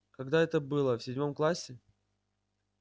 когда это было в седьмом классе